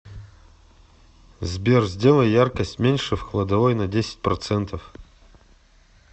сбер сделай яркость меньше в кладовой на десять процентов